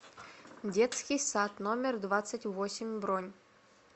детский сад номер двадцать восемь бронь